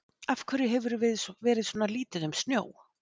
Af hverju hefur verið svona lítið um snjó?